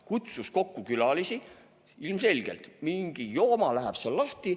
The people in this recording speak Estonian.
"Kutsus kokku külalisi" – ilmselgelt mingi jooma läheb seal lahti.